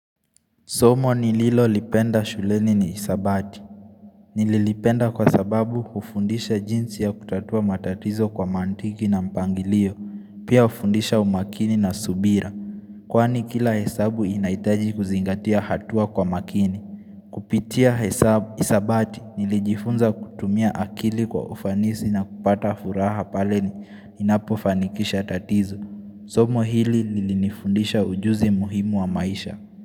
Somo nililolipenda shuleni ni isabati. Nililipenda kwa sababu hufundisha jinsi ya kutatua matatizo kwa mantiki na mpangilio, pia ufundisha umakini na subira. Kwani kila hesabu inaitaji kuzingatia hatua kwa makini. Kupitia hesabu hisabati nilijifunza kutumia akili kwa ufanisi na kupata furaha paleni inapo fanikisha tatizo. Somo hili nilifundisha ujuzi muhimu wa maisha.